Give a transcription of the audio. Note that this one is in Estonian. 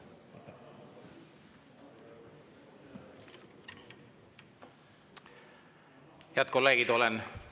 Head kolleegid!